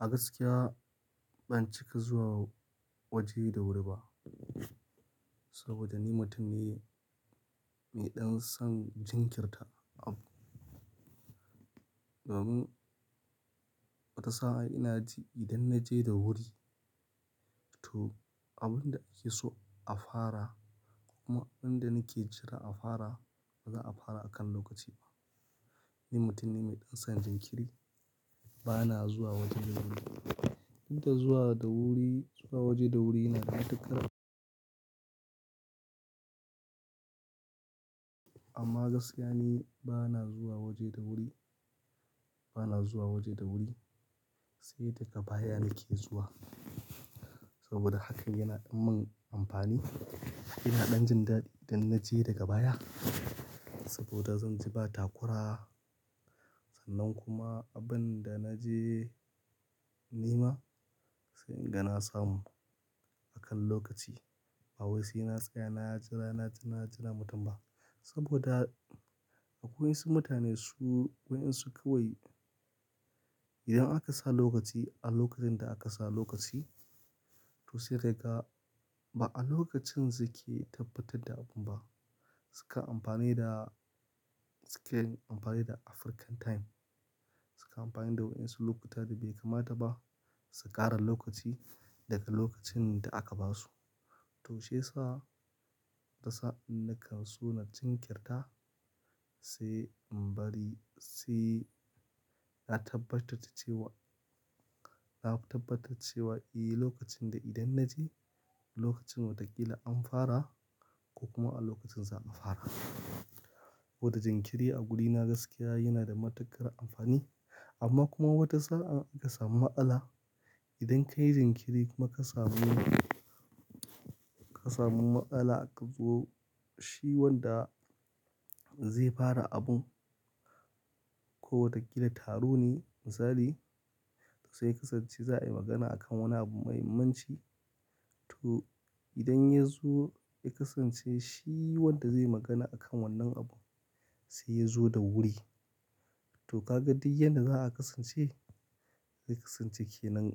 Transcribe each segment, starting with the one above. A gaskiya ban cika zuwa waje da wuri ba saboda ni mutum ne mai ɗan son jinkirta. Abun wata sa'a ina ji idan na je da wuri to abin da ake so a fara ko kuma abin da nake jira a fara ba za a fara a kan lokaci ba. Ni mutum ne mai ɗan son jinkiri, bana zuwa waje da wuri. Duk da zuwa da wuri, zuwa waje da wuri yana da matuƙar amma gaskiya ni bana zuwa waje da wuri, bana zuwa waje da wuri sai daga baya nake zuwa saboda hakan yana ɗan mun amfani. Ina ɗan jin daɗi idan na je daga baya saboda zan ji ba takura sannan kuma abin da na je nema sai in ga na samu a kan lokaci. Ba wai sai na tsaya, na yi jira, na jira, na jira mutum ba saboda a kowayesu mutane su, wayen su kawai idan aka sa lokaci a lokacin da aka sa lokaci to sai ka ga ba a lokacin su ke tabbatar da abun ba. Suka amfani da, suke amfani da African time. Suka amfani da wayen su lokuta da bai kamata ba su ƙara lokaci daga lokacin da aka ba su. To shiyasa da sa'a in nakan so na jinkirta sai in bari, sai na tabbatarce cewa, na tabbatarce cewa eh lokacin da idan na je lokacin watakila an fara ko kuma a lokacin za a fara. Koda jinkiri a gurina gaskiya yana da matuƙar amfani amma kuma wata sa'a ka samu matsala. Idan ka yi jinkiri kuma ka samu, ka samu ma'ala ka zo shi wanda zai fara abun ko watakila taro ne misali to sai ya kasance za a yi magana akan wani abu muhimmanci to idan ya zo ya kasance shi wanda zai magana akan wannan abu sai ya zo da wuri. To ka ga duk yadda za a kasance? Ya kasance ke nan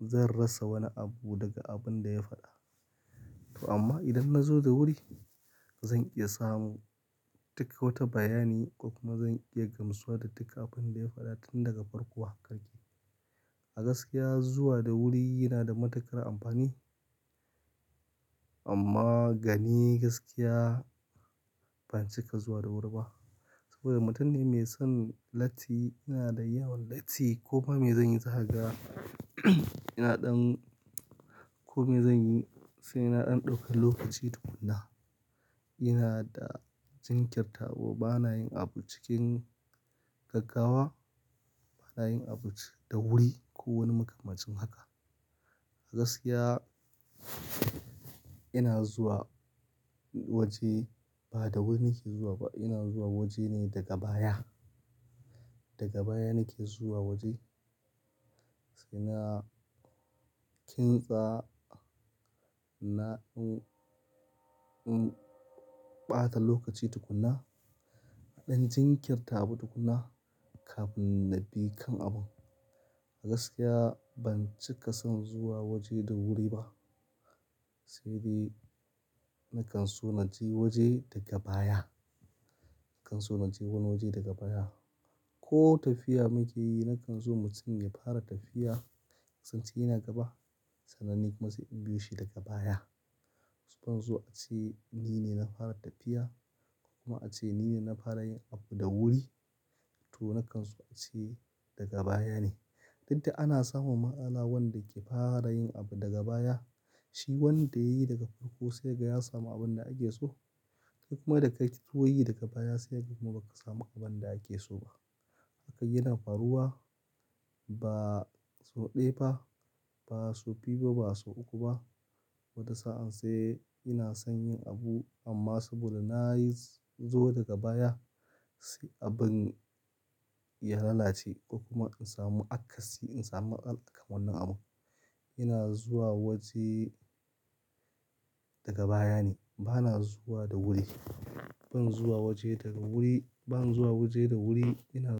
zan rasa wani abu daga abun da ya faɗa. To amma idan na zo da wuri zan iya samu duka wata bayani ko kuma zan iya gamsuwa da duka abin da ya fada tun daga farko har karshe. A gaskiya zuwa da wuri yana da matuƙar amfani amma gani gaskiya ban cika zuwa da wuri ba saboda mutum ne mai son latti, ina da yawan latti ko ba me zan yi za kaga ina ɗan ko me zan yi sai na ɗan dauka lokaci tukunna. Ina da jinkirta wa bana yin abu cikin gaggawa, bana yin abu da wuri ko wani makamancin haka. A gaskiya ina zuwa waje ba da wuri nake zuwa ba, ina zuwa waje ne daga baya. Daga baya nake zuwa waje sai na kintsa na ɗan, ɗan ɓata lokaci tukunna, ɗan jinkirta abu tukunna kafin na bi kan abun. A gaskiya ban cika son zuwa waje da wuri ba, sai dai nakan so na je waje daga baya. Nakan so na je wani waje daga baya. Ko tafiya muke yi nakan so mutum ya fara tafiya kasance yana gaba sannan ni kuma sai in biyo shi daga baya. Banso ace ni ne na fara tafiya ko kuma ace ni ne na fara yin abu da wuri to na kan so a ce daga baya ne. Duk da ana samun matsala wanda yake fara yin abu daga baya, shi wanda yayi daga farko sai ka ga ya samu abin da ake so. Kai kuma da kai ta koyi daga baya sai kaga kuma ba ka samu abin da ake so ba. Hakan yana faruwa ba sau ɗaya ba, ba sau biyu ba, ba sau uku ba. Wata sa'a sai ina son yin abu amma saboda na yi zo daga baya sai abin ya lalace ko kuma in samu akasi, in samu matsala akan wannan abu. Ina zuwa waje daga baya ne, bana zuwa da wuri. Ban zuwa waje daga wuri, ban zuwa waje da wuri ina.